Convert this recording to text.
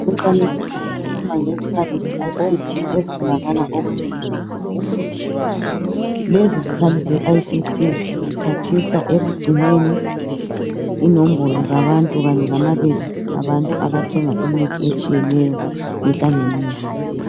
Umfanekiso ikhuluma mgezikhali ze ICT ezitholakala okuthengiswa khona imithi lezizikhali ze ICT ziphathisa ekugcineni inombolo zabantu kanye lamabizo abantu abathenga imithi etshiyeneyo mihla ngemihla.